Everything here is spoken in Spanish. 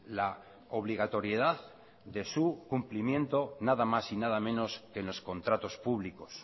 la obligatoriedad de su cumplimiento nada más y nada menos que en los contratos públicos